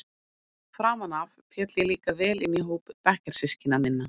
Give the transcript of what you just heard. Framan af féll ég líka vel inn í hóp bekkjarsystkina minna.